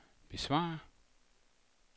besvar